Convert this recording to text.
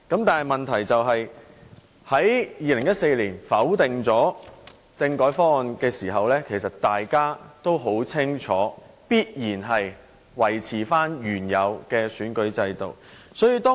當他們在2014年否決政改方案時，大家清楚知道必然會維持原有的選舉制度。